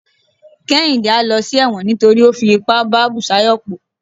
kehinde a ló sí ẹwọ́n nítorí o fí ipá bá busayo po